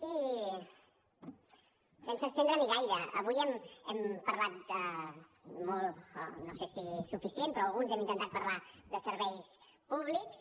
i sense estendre m’hi gaire avui hem parlat molt no sé si suficient però alguns hem intentat parlar de serveis públics